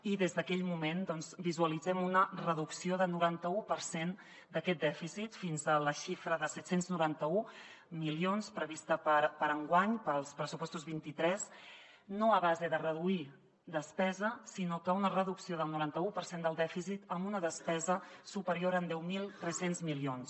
i des d’aquell moment doncs visualitzem una reducció del norantau per cent d’aquest dèficit fins a la xifra de set cents i noranta un milions prevista per a enguany pels pressupostos vint tres no a base de reduir despesa sinó una reducció del norantau per cent del dèficit amb una despesa superior en deu mil tres cents milions